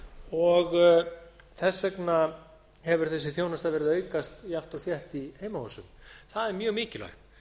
og þess vegna hefur þessi þjónusta verið að aukast jafnt og þétt í heimahúsum það er mjög mikilvægt